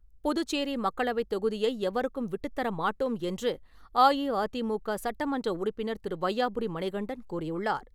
புதுச்சேரி மக்களவைத் தொகுதியை எவருக்கும் விட்டுத்தர மாட்டோம் என்று அஇஅதிமுக சட்டமன்ற உறுப்பினர் திரு. வையாபுரி மணிகண்டன் கூறியுள்ளார்.